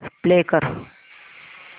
play कर